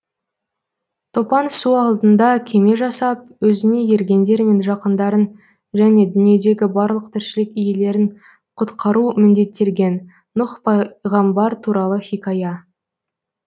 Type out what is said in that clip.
топан су алдында кеме жасап өзіне ергендер мен жақындарын және дүниедегі барлық тіршілік иелерін құтқару міндеттелген нұх пайғамбар туралы хикая